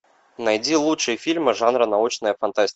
найди лучшие фильмы жанра научная фантастика